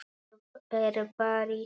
Hér er barist.